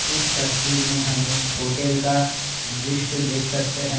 इस तस्वीर में हम एक होटल का दृश्य देख सकते हैं।